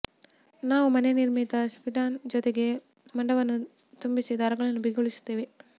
ನಾವು ಮನೆ ನಿರ್ಮಿತ ಸಿಂಟ್ಪಾನ್ ಜೊತೆಗೆ ಮುಂಡವನ್ನು ತುಂಬಿಸಿ ದಾರಗಳನ್ನು ಬಿಗಿಗೊಳಿಸುತ್ತೇವೆ